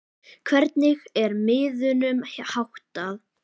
Hvernig er miðunum háttað?